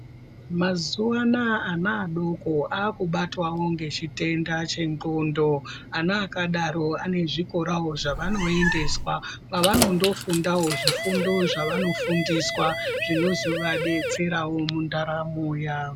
Mazuva anawa ana adoko anobatwawo nechitenda chendxondo ana adoko vane zvikorawo zvavanoendeswa pavanofundawo zvifundo zvavanofundiswa zvinozovadetsera mundaramo yawo.